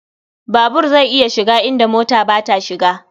Babur zai iya shiga inda mota ba ta shiga.